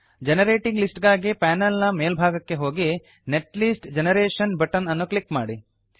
generating list ಗಾಗಿ panel ನ ಮೇಲ್ಭಾಗಕ್ಕೆ ಹೋಗಿ ನೆಟ್ಲಿಸ್ಟ್ ಜನರೇಷನ್ ಬಟನ್ ಅನ್ನು ಕ್ಲಿಕ್ ಮಾಡಿ